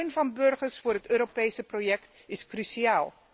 Want steun van de burgers voor het Europese project is cruciaal.